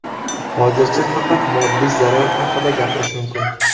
Hozircha faqat moddiy zarar haqida gapirish mumkin.